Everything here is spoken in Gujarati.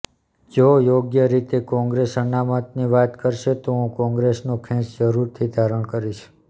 જો યોગ્ય રીતે કોંગ્રેસ અનામતની વાત કરશે તો હું કોંગ્રેસનો ખેસ જરૂરથી ધારણ કરીશ